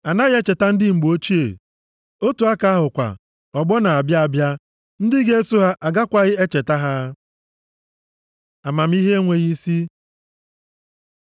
Anaghị echeta ndị mgbe ochie, otu aka ahụ kwa, ọgbọ na-abịa abịa ndị ga-eso ha agakwaghị echeta ha. Amamihe enweghị isi